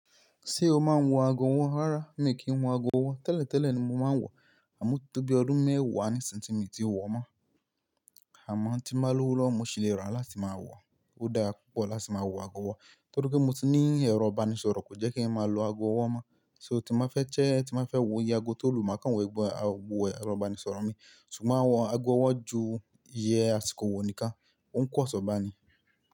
Ṣé o máa ń wọ ago ọwọ́? Rárá, mi kì wo ago ọwọ́. Tẹ́lẹ̀ tẹ́lẹ̀ ni mo máa ń wọ̀, àmọ́ tó bí ọdún mẹ́wàá ní ìsin tí mi ti wọ̀ mọ́. Àmọ́ tí máa lọ́wọ́ lọ́mọ, sì lè rà láti máa wọ̀. Ó dáa púpọ̀ láti máa wọ ago ọwọ́, torí pé mo ti ní ẹ̀rọ ìbánisọ̀rọ̀, kò jẹ́ kí ẹ máa lo ago ọwọ́ mọ́. So tí mo fẹ́ ṣẹ́, tí mo fẹ́ wọ iye ago tó lù, màá kan wọ ẹgbẹ́ àwo ẹ̀rọ ìbánisọ̀rọ̀ mi. Ṣùgbọ́n wọ ago ọwọ́ ju iye a ti kò wọ̀ nìkan, ó ń pọ̀nsọ̀ bá ni.